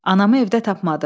Anamı evdə tapmadım.